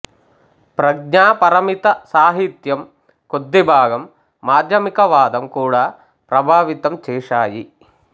ప్రజ్ఞాపరమిత సాహిత్యం కొద్దిభాగం మాధ్యమిక వాదం కూడా ప్రభావితం చేశాయి